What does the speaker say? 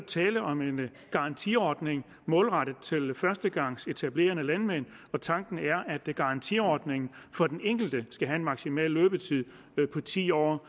tale om en garantiordning målrettet til førstegangsetablerende landmænd og tanken er at garantiordningen for den enkelte skal have en maksimal løbetid på ti år